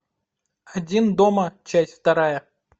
один дома часть вторая